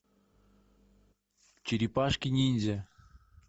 черепашки ниндзя